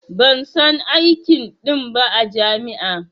Ban san aikin Din ba a jami'a